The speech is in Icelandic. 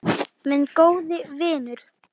Minn góði vinur.